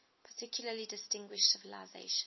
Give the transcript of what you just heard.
particularly distinguished civilization